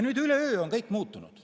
Nüüd üleöö on kõik muutunud.